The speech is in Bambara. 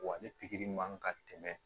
Wa ni pikiri man kan ka tɛmɛ